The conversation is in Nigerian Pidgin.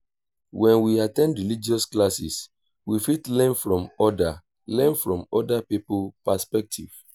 when we at ten d religious classes we fit learn from oda learn from oda pipo perspective